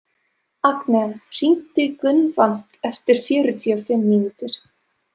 Agnea, hringdu í Gunnvant eftir fjörutíu og fimm mínútur.